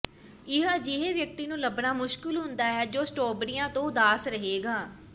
ਇਹ ਅਜਿਹੇ ਵਿਅਕਤੀ ਨੂੰ ਲੱਭਣਾ ਮੁਸ਼ਕਲ ਹੁੰਦਾ ਹੈ ਜੋ ਸਟ੍ਰਾਬੇਰੀਆਂ ਤੋਂ ਉਦਾਸ ਰਹੇਗਾ